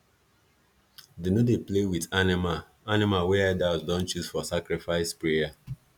them no dey play with animal animal wey elders don choose for sacrifice prayer